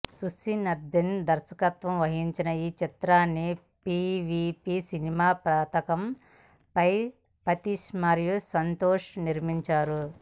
సుసీన్ద్రన్ దర్శకత్వం వహించిన ఈ చిత్రాన్ని పీవీపీ సినిమా పతాకం పై ప్రతీష్ మరియు సంతోష్ నిర్మించారు